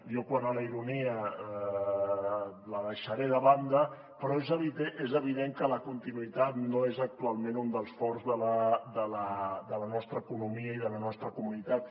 jo quant a la ironia la deixaré de banda però és evident que la continuïtat no és actualment un dels forts de la nostra economia ni de la nostra comunitat